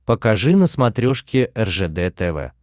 покажи на смотрешке ржд тв